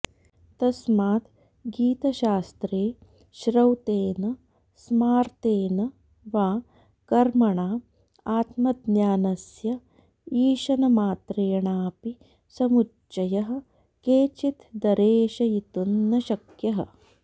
तस्माद् गीतशास्त्रे श्रौतेन स्मार्तेन वा कर्मणा आत्मज्ञानस्य ईषनमात्रेणापि समुच्च्यः केनचित् दरेशयितुं न शक्यः